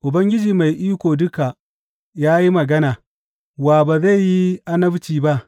Ubangiji Mai Iko Duka ya yi magana, wa ba zai yi annabci ba?